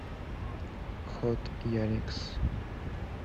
хот яникс